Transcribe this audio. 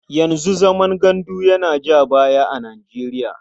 Yanzu zaman gandu yana ja baya a Nijeriya.